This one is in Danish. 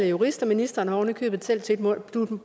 jurist og ministeren har ovenikøbet